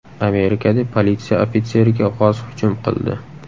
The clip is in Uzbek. Amerikada politsiya ofitseriga g‘oz hujum qildi .